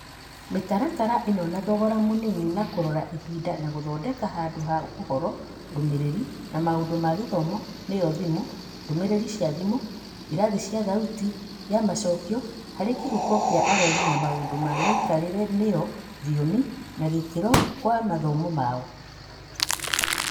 Mĩtaratara ĩno na thogora mũnini na kũrora ihinda na gũthondeka handũ ha ũhoro, ndũmĩrĩri, na maũndũ ma gũthoma nĩyo thimũ, ndũmĩrĩri cia thimũ, irathi cia thauti ya macokio harĩ kĩhuko kĩa arori na maũndũ ma mĩikarĩre nĩyo thiomi na gĩkĩro kwa mathomo mao.